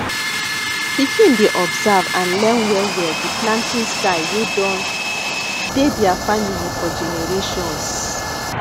pikin dey observe and learn well well di planting style wey don dey their family for generations